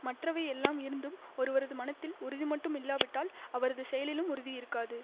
மற்றவை எல்லாம் இருந்தும் ஒருவரது மனத்தில் உறுதி மட்டும் இல்லாவிட்டால் அவரது செயலிலும் உறுதி இருக்காது